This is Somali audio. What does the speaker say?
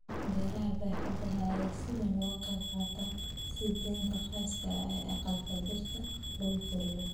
Beeraha baaxadda leh ayaa si weyn uga qayb qaata sii deynta gaaska aqalka dhirta lagu koriyo.